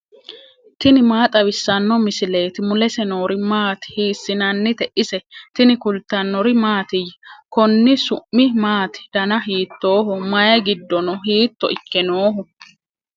tini maa xawissanno misileeti ? mulese noori maati ? hiissinannite ise ? tini kultannori mattiya? Konni su'mi maatti? danna hiittoho? mayi giddo noo? hiitto ikke nooho?